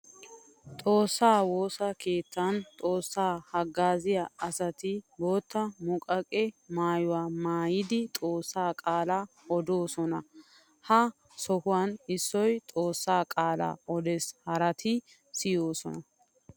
Xoosa woosa keettan xoosa hagaaziya asatti bootta muqaqe maayuwa maayiddi xoosa qaala oddoosonna. Ha sohuwan issoy xoosa qaala oddees haratti siyossonna.